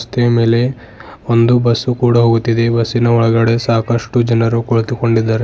ರಸ್ತೆಯ ಮೇಲೆ ಒಂದು ಬಸ್ಸು ಕೂಡ ಹೋಗುತ್ತಿದೆ ಬಸ್ಸಿನ ಒಳಗಡೆ ಸಾಕಷ್ಟು ಜನರು ಕುಳಿತುಕೊಂಡಿದ್ದಾರೆ.